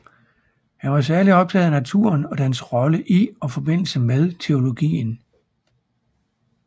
Han var særligt optaget af naturen og dens rolle i og forbindelse med teologien